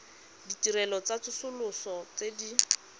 ditirelo tsa tsosoloso tse di